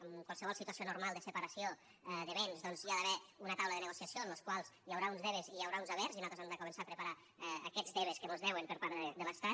en qualsevol situació normal de separació de béns doncs hi ha d’haver una taula de negociació en la qual hi haurà uns debes i hi haurà uns havers de començar a preparar aquests debes que mos deuen per part de l’estat